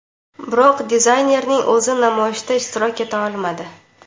Biroq dizaynerning o‘zi namoyishda ishtirok eta olmadi.